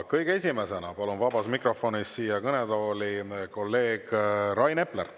Kõige esimesena palun vabas mikrofonis siia kõnetooli kolleeg Rain Epleri.